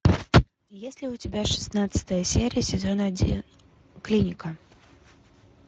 есть ли у тебя шестнадцатая серия сезон один клиника